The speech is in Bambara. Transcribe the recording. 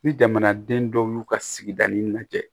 Ni jamanaden dɔw y'u ka sigi lajɛ